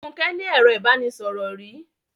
Fúnke ní ẹro ìbánisọ̀rò rí.